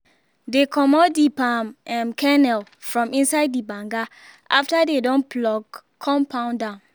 dey comot the palm um kernel from inside the banga after dey don pluck con pound am